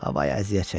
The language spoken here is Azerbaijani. Havayı əziyyət çəkir.